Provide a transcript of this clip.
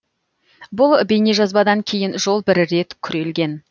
бұл бейнежазбадан кейін жол бір рет күрелген